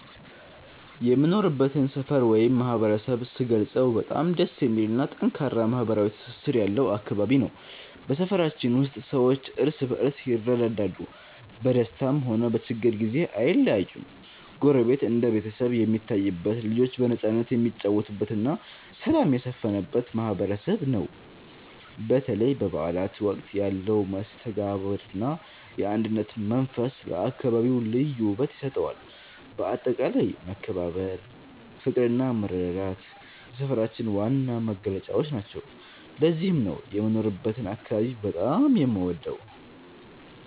የምኖርበትን ሰፈር ወይም ማህበረሰብ ስገልጸው በጣም ደስ የሚልና ጠንካራ ማህበራዊ ትስስር ያለው አካባቢ ነው። በሰፈራችን ውስጥ ሰዎች እርስ በርስ ይረዳዳሉ፤ በደስታም ሆነ በችግር ጊዜ አይለያዩም። ጎረቤት እንደ ቤተሰብ የሚታይበት፣ ልጆች በነፃነት የሚጫወቱበትና ሰላም የሰፈነበት ማህበረሰብ ነው። በተለይ በበዓላት ወቅት ያለው መስተጋብርና የአንድነት መንፈስ ለአካባቢው ልዩ ውበት ይሰጠዋል። በአጠቃላይ መከባበር፣ ፍቅርና መረዳዳት የሰፈራችን ዋና መገለጫዎች ናቸው። ለዚህም ነው የምኖርበትን አካባቢ በጣም የምወደው።